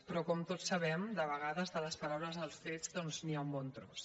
però com tots sabem de vegades de les paraules als fets doncs hi ha un bon tros